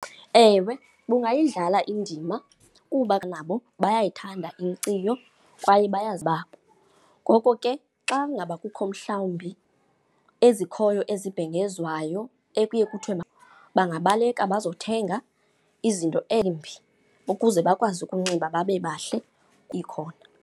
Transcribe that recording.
Ewe, bungayidlala indima kuba nabo bayayithanda inkciyo kwaye bayazi . Ngoko ke xa ngaba kukho mhlawumbi ezikhoyo ezibhengezwayo ekuye kuthiwe bangabaleka bazothenga izinto embi ukuze bakwazi ukunxiba babebahle ikhona.